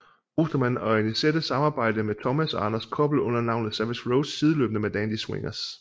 Ostermann og Annisette samarbejde med Thomas og Anders Koppel under navnet Savage Rose sideløbende med Dandy Swingers